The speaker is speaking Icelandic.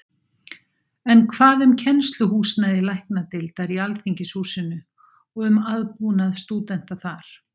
En hvað um kennsluhúsnæði Læknadeildar í Alþingishúsinu og um aðbúnað stúdenta þar?